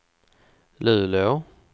Luleå